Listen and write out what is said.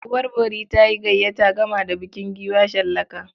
Uwar bori ta yi gayyata gama da bukin giwa shallaka.